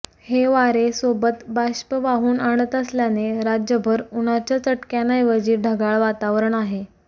हे वारे सोबत बाष्प वाहून आणत असल्याने राज्यभर उन्हाच्या चटक्यांऐवजी ढगाळ वातावरण आहे